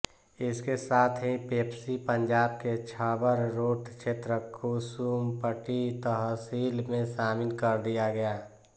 इसके साथ ही पेप्सी पंजाब के छबरोट क्षेत्र कुसुम्पटी तहसील में शामिल कर दिया गया